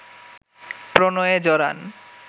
প্রণয়ে জড়ান